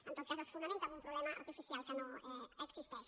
en tot cas es fonamenta en un problema artificial que no existeix